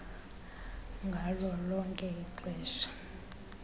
ngalo lonke ixesha